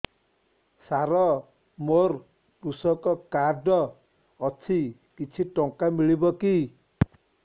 ସାର ମୋର୍ କୃଷକ କାର୍ଡ ଅଛି କିଛି ଟଙ୍କା ମିଳିବ କି